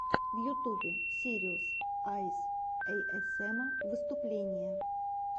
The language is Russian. в ютьюбе сириус айс эйэсэма выступление